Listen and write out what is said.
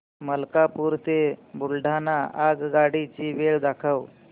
मलकापूर ते बुलढाणा आगगाडी ची वेळ दाखव